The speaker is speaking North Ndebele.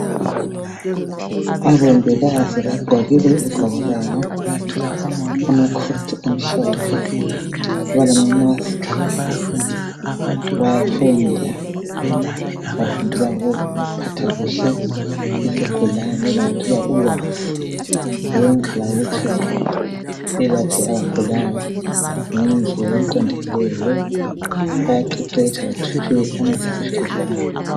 Omongikazi bagqokile izigqoko zabo balamasasiki ,bafundile balungisela ukuyamsebenzini njengabantu abaqeqetshileyo bahlezi bathuthukile kakhulu.